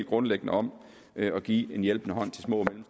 grundlæggende om at give en hjælpende hånd til små